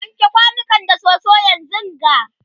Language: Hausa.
wanke kwanukan da soso yanzunga!